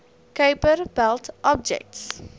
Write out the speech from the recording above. kuiper belt objects